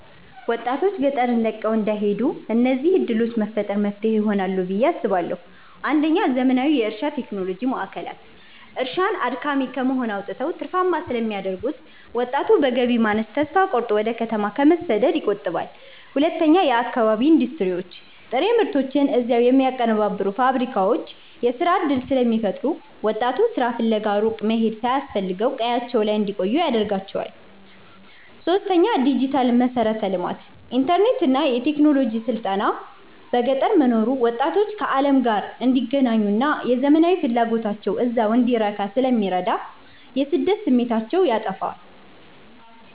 ወጣቶች ገጠርን ለቀው እንዳይሄዱ እነዚህን ዕድሎች መፍጠር መፍትሄ ይሆናል ብየ አስባለሁ ፩. ዘመናዊ የእርሻ ቴክኖሎጂ ማዕከላት፦ እርሻን አድካሚ ከመሆን አውጥተው ትርፋማ ስለሚያደርጉት፣ ወጣቱ በገቢ ማነስ ተስፋ ቆርጦ ወደ ከተማ ከመሰደድ ይቆጠባል። ፪. የአካባቢ ኢንዱስትሪዎች፦ ጥሬ ምርቶችን እዚያው የሚያቀነባብሩ ፋብሪካዎች የሥራ ዕድል ስለሚፈጥሩ፣ ወጣቱ ሥራ ፍለጋ ሩቅ መሄድ ሳያስፈልገው ቀያቸው ላይ እንዲቆዩ ያደርጋቸዋል። ፫. ዲጂታል መሠረተ ልማት፦ ኢንተርኔትና የቴክኖሎጂ ስልጠና በገጠር መኖሩ ወጣቶች ከዓለም ጋር እንዲገናኙና የዘመናዊነት ፍላጎታቸው እዚያው እንዲረካ ስለሚረዳ የስደት ስሜታቸውን ያጠፋዋል።